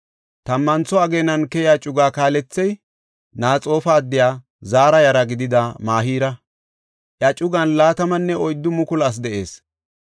Tammantho ageenan keyiya cuga kaalethey Naxoofa addiya Zaara yara gidida Mahira; iya cugan 24,000 asi de7ees.